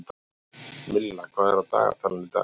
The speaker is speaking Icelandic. Milla, hvað er á dagatalinu í dag?